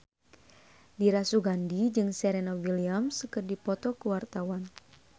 Dira Sugandi jeung Serena Williams keur dipoto ku wartawan